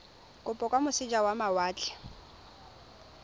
kopo kwa moseja wa mawatle